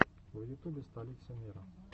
в ютубе столица мира